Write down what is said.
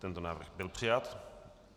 Tento návrh byl přijat.